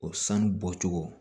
O sanu bɔcogo